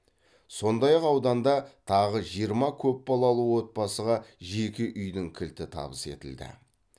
сондай ақ ауданда тағы жиырма көпбалалы отбасыға жеке үйдің кілті табыс етілді